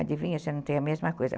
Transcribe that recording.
Adivinha, você não tem a mesma coisa.